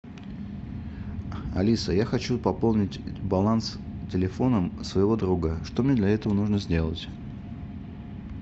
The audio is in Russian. алиса я хочу пополнить баланс телефона своего друга что мне для этого нужно сделать